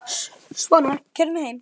Svona, keyrðu mig heim.